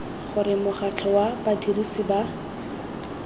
gore mokgatlho wa badirisi ba